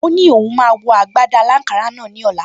O ní òun máa wọ agbádá aláǹkárá ní ọ̀la